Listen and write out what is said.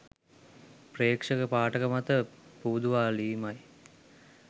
ප්‍රේක්ෂක පාඨක මත පුබුදුවාලීමයි.